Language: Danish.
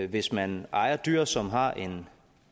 hvis man ejer dyr som har en